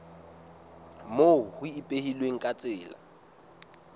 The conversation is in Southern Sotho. moo ho ipehilweng ka tsela